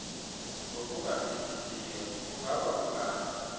ngokungafihlisiyo kungaba kungabi